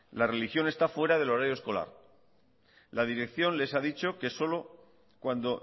la religión está fuera del horario escolar la dirección les ha dicho que solo cuando